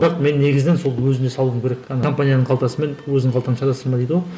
бірақ мен негізінен сол өзіне салуым керек компанияның қалтасы мен өзіңнің қалтасына саласың ба дейді ғой